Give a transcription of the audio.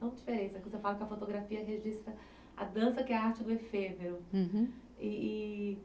Você fala que a fotografia registra a dança, que é a arte do efêmero. Uhum. E, e